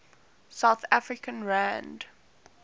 south african rand